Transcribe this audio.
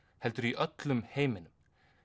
heldur í öllum heiminum